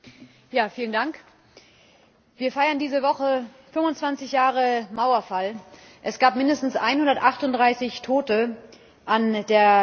Herr Präsident! Wir feiern diese Woche 25 Jahre Mauerfall. Es gab mindestens 138 Tote an der Grenze.